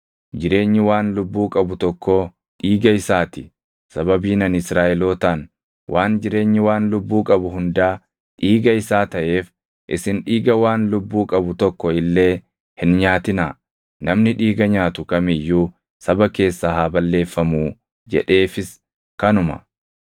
jireenyi waan lubbuu qabu tokkoo dhiiga isaa ti. Sababiin ani Israaʼelootaan, “Waan jireenyi waan lubbuu qabu hundaa dhiiga isaa taʼeef isin dhiiga waan lubbuu qabu tokko illee hin nyaatinaa; namni dhiiga nyaatu kam iyyuu saba keessaa haa balleeffamuu” jedheefis kanuma.